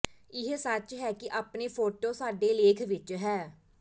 ਇਹ ਸੱਚ ਹੈ ਕਿ ਆਪਣੇ ਫੋਟੋ ਸਾਡੇ ਲੇਖ ਵਿਚ ਹੈ